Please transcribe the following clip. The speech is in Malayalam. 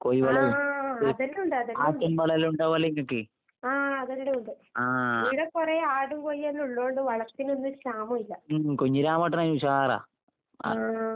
ആഹ് അതെല്ലാം ഉണ്ട്, അതെല്ലാം ഉണ്ട്. ആഹ് അതിവിടെ ഉണ്ട്. ഈടെക്കൊറേ ആടും കോഴിയെല്ലാം ഇള്ളോണ്ട് വളത്തിനൊന്നുവൊര് ക്ഷാമോം ഇല്ല. ആഹ്.